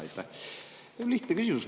Mul on lihtne küsimus.